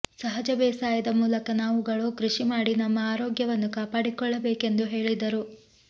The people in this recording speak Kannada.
ಸಹಜ ಬೇಸಾಯದ ಮೂಲಕ ನಾವುಗಳು ಕೃಷಿ ಮಾಡಿ ನಮ್ಮ ಆರೋಗ್ಯವನ್ನು ಕಾಪಡಿಕೊಳ್ಳಬೇಕೆಂದು ಹೇಳಿದರು